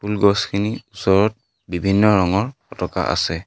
ফুল গছখিনিৰ ওচৰত বিভিন্ন ৰঙৰ পতাকা আছে।